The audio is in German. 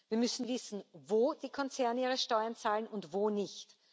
Wir müssen wissen, wo die Konzerne ihre Steuern zahlen und wo nicht.